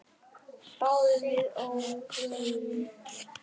Báðum að óvörum.